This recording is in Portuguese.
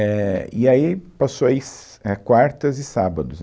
éh, e aí passou aí, si, é, quartas e sábados.